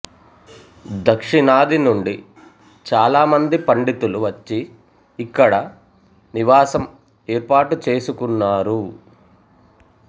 దక్షిణాది నుండి చాలా మంది పండితులు వచ్చి ఇక్కడ నివాసం ఏర్పాటు చేసుకున్నారు